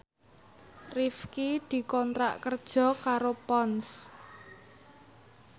Rifqi dikontrak kerja karo Ponds